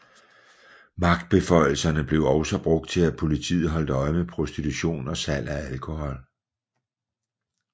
Magtbeføjelserne blev også brugt til at politiet holdt øje med prostitution og salg af alkohol